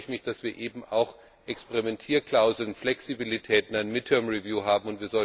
Deshalb freue ich mich, dass wir eben auch Experimentierklauseln, Flexibilität, eine midterm review haben.